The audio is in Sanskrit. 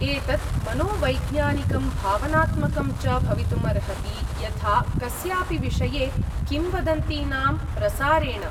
एतत् मनोवैज्ञानिकं भावनात्मकं च भवितुम् अर्हति, यथा कस्यापि विषये किंवदन्तीनां प्रसारेण।